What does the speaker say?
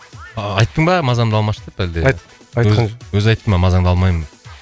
айттың ба мазамды алмашы деп әлде айтқан жоқ өзі айтты ма мазаңды алмаймын